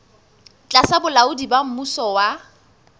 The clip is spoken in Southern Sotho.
tlasa bolaodi ba mmuso wa